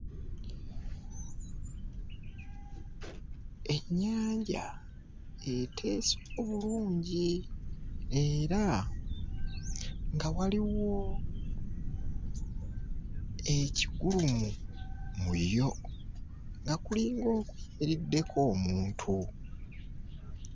Ennyanja eteese obulungi era nga waliwo ekigulumu mu yo nga kulinga okuyimiriddeko omuntu.